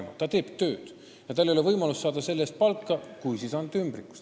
Noor inimene teeb tööd, aga tal ei ole võimalik selle eest palka saada – kui, siis ainult ümbrikus.